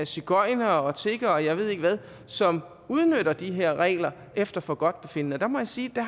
sigøjnere tiggere og jeg ved ikke hvad som udnytter de her regler efter forgodtbefindende og der må jeg sige at